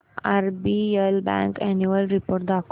RBL bank annual report दाखव